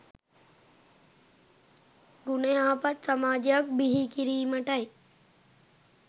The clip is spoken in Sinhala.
ගුණ යහපත් සමාජයක් බිහි කිරීමටයි